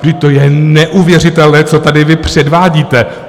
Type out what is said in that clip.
Vždyť to je neuvěřitelné, co tady vy předvádíte.